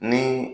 Ni